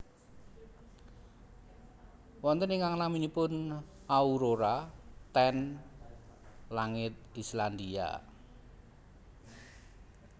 Wonten ingkang naminipun aurora ten langit Islandia